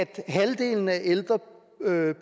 at halvdelen af ældre